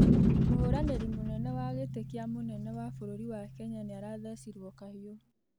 Mũhũranĩrĩ munene wa gĩtĩ kĩa mũnene wa bũrũrĩ wa Kenya nĩathecirwo kahĩũ